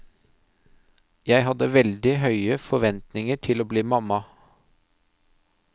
Jeg hadde veldig høye forventninger til å bli mamma.